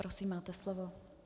Prosím, máte slovo.